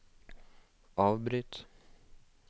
avbryt